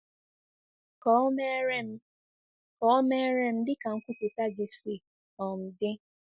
Ka o meere Ka o meere m dị ka nkwupụta gị si um dị.”